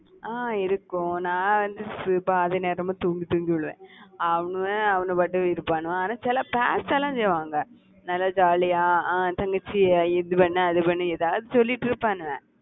அஹ் இருக்கும். நான் வந்து பாதி நேரமும் தூங்கி தூங்கி விழுவேன். அவனுங்க அவங்க பாட்டுக்கு இருப்பானுங்க, ஆனா சில சேஷ்டைலாம் செய்வாங்க. நல்லா jolly யா அஹ் தங்கச்சியை இது பண்ணு அது பண்ணு ஏதாவது சொல்லிட்டிருப்பானுங்க.